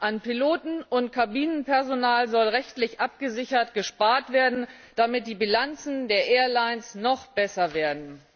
An Piloten und Kabinenpersonal soll rechtlich abgesichert gespart werden, damit die Bilanzen der Airlines noch besser werden.